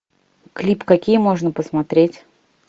клипы какие можно посмотреть